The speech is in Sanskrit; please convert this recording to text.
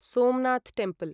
सोमनाथ् टेम्पल्